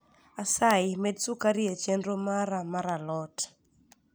asayi med sukari e chenro mara mar a lot